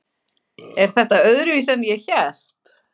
Er þetta öðruvísi en ég hélt?